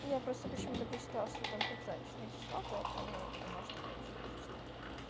я просто почему-то прочитала что там трёхзначное число поэтому подумала что оно вообще изичное